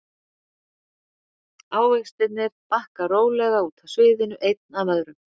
Ávextirnir bakka rólega út af sviðinu einn af öðrum.